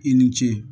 I ni ce